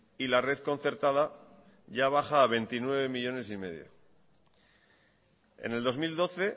y la red concertada ya baja a veintinueve millónes quinientos mil en el dos mil doce